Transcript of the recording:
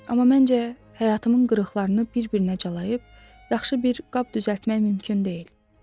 Amma məncə həyatımın qırıqlarını bir-birinə calayıb, yaxşı bir qab düzəltmək mümkün deyil.